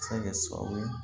Se ka kɛ sababu ye